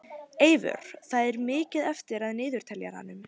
Eyvör, hvað er mikið eftir af niðurteljaranum?